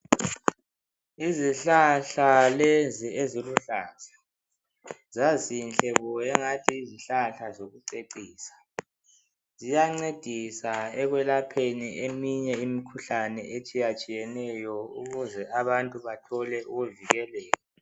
Izihlahla lezi eziluhlaza zazinhle bo angathi yizihlahla zokucecisa. Ziyancedisa ekwelapheni eminye imikhuhlane etshiyatshiyeneyo ukuze abantu bathole ukuvikeleka.